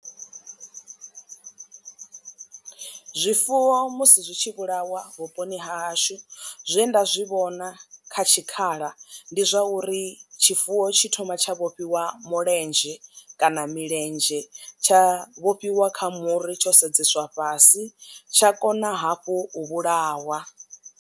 Zwifuwo musi zwi tshi vhulawa vhuponi ha hashu zwe nda zwi vhona kha tshikhala ndi zwa uri tshifuwo tshi thoma tsha vhofhiwa mulenzhe kana milenzhe tsha vhofhiwa kha muri tsho sedzeswa fhasi tsha kona hafhu u vhulawa.